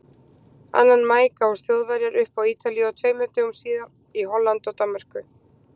Annan maí gáfust Þjóðverjar upp á Ítalíu og tveimur dögum síðar í Hollandi og Danmörku.